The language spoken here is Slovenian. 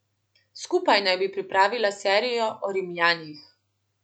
Skupaj naj bi pripravila serijo o Rimljanih.